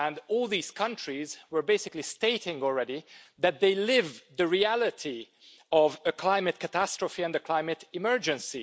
All these countries were basically already stating that they live the reality of a climate catastrophe and a climate emergency.